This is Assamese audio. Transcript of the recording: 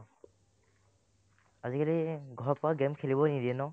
আজিকালি ঘৰত পৰা game খেলিবই নিদিয়ে ন ?